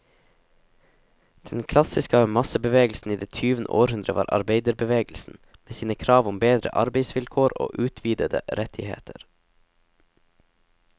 Den klassiske massebevegelsen i det tyvende århundre var arbeiderbevegelsen, med sine krav om bedre arbeidsvilkår og utvidede rettigheter.